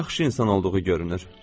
Yaxşı insan olduğu görünür.